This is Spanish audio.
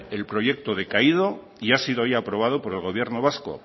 el proyecto ha decaído y ha sido hoy aprobado por el gobierno vasco